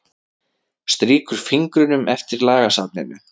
Strýkur fingrunum eftir lagasafninu.